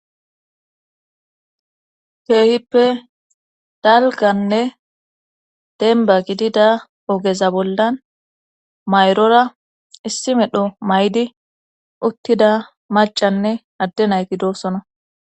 Keehippe dalgganne dembba gidida ogeza bollan mayrora issi medho mayidi uttida maccanne adde nayti doosona.